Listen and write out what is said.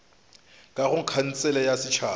ka go khansele ya setšhaba